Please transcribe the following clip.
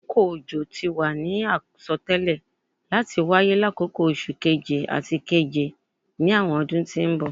Akoko ojo ti wa ni asọtẹlẹ lati waye lakoko Oṣu Keje ati Keje ni awọn ọdun ti n bọ